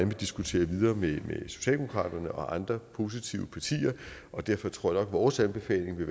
vil diskutere videre med socialdemokratiet og andre positive partier og derfor tror at vores anbefaling